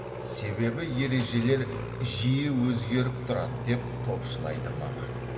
себебі ережелер жиі өзгеріп тұрады деп топшылайды маман